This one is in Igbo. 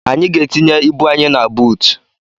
Anyị ga-etinye ibu anyị na buutu.